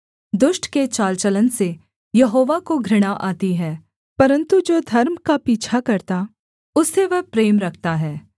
दुष्ट के चाल चलन से यहोवा को घृणा आती है परन्तु जो धर्म का पीछा करता उससे वह प्रेम रखता है